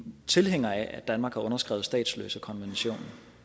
tilhængere af at danmark har underskrevet statsløsekonventionen